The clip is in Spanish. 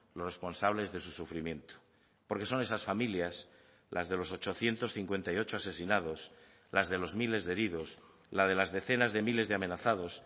los responsables de su sufrimiento porque son esas familias las de los ochocientos cincuenta y ocho asesinados las de los miles de heridos la de las decenas de miles de amenazados